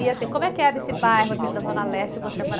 E assim, como é que é nesse bairro, assim, da Zona Leste, você morar?